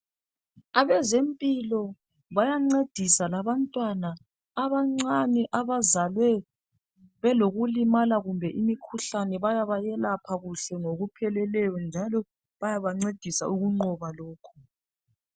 Abezempilo bayancedisa labantwana abancane abazalwe belokulimala kumbe imikhuhlane bayabayelapha kuhle ngokupheleleyo njalo bayabancedisa ukunqoba lokhu .